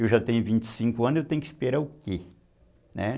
Eu já tenho vinte e cinco anos, eu tenho que esperar o quê?